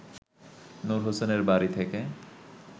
নূর হোসেনের বাড়ি থেকে